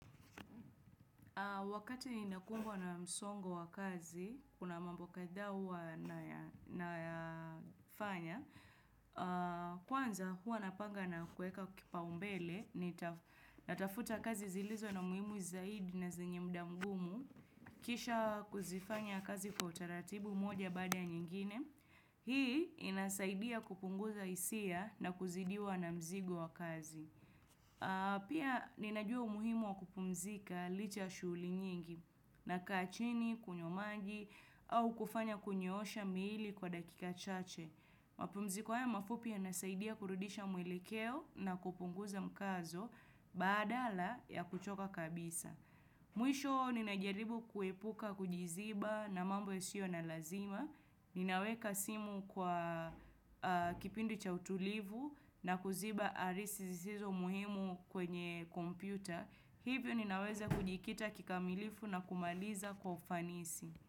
Wakati ninakumbwa na msongo wa kazi, kuna mambo kadhaa huwa nayafanya, kwanza huwa napanga na kueka kipaumbele, natafuta kazi zilizo na muhimu zaidi na zenye muda mgumu, kisha kuzifanya kazi kwa utaratibu moja baada ya nyingine, hii inasaidia kupunguza hisia na kuzidiwa na mzigo wa kazi. Pia ninajua umuhimu wa kupumzika licha ya shughuli nyingi na kaa chini, kunywa maji au kufanya kunyoosha miili kwa dakika chache. Mapumziko haya mafupi yanasaidia kurudisha mwelekeo na kupunguza mkazo badala ya kuchoka kabisa. Mwisho ninajaribu kuepuka kujiziba na mambo yasio na lazima, ninaweka simu kwa kipindi cha utulivu na kuziba arisi zisizo muhimu kwenye kompyuta, hivyo ninaweza kujikita kikamilifu na kumaliza kwa ufanisi.